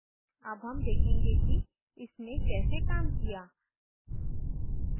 अब हम देखेंगे कि इसने कैसे काम किया